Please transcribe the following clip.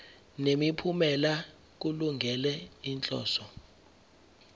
nemiphumela kulungele inhloso